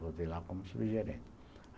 Voltei lá como subgerente.